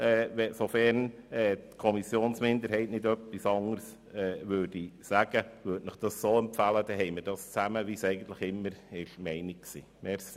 Sofern die Kommissionsminderheit nicht etwas anderes sagt, empfehle ich Ihnen, das so zu tun, wie es eigentlich immer beabsichtigt war.